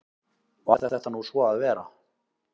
Varð þetta nú svo að vera.